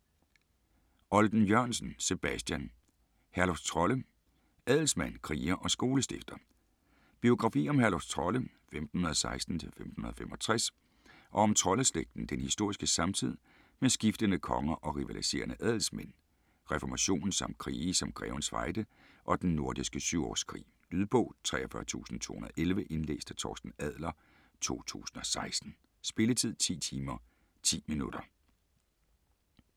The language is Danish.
Olden-Jørgensen, Sebastian: Herluf Trolle: adelsmand, kriger og skolestifter Biografi om Herluf Trolle (1516-1565) og om Trolle-slægten, den historiske samtid med skiftende konger og rivaliserende adelsmænd, reformationen samt krige som Grevens Fejde og Den Nordiske Syvårskrig. Lydbog 43211 Indlæst af Torsten Adler, 2016. Spilletid: 10 timer, 10 minutter.